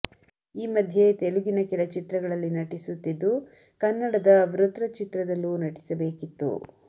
ಈ ಮಧ್ಯೆ ತೆಲುಗಿನ ಕೆಲ ಚಿತ್ರಗಳಲ್ಲಿ ನಟಿಸುತ್ತಿದ್ದು ಕನ್ನಡದ ವೃತ್ರ ಚಿತ್ರದಲ್ಲೂ ನಟಿಸಬೇಕಿತ್ತು